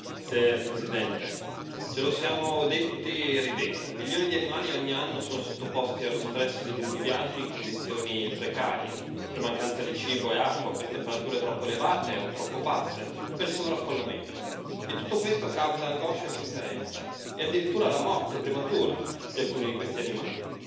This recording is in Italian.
Signor Presidente, onorevoli colleghi, ce lo siamo detti e ridetti milioni di animali ogni anno sono sottoposti allo stress di lunghi viaggi in condizioni precarie, per mancanza di cibo e acqua, per temperature troppo elevate o troppo basse, per sovraffollamento. E tutto questo causa angoscia e sofferenza, e addirittura la morte prematura di alcuni di questi animali.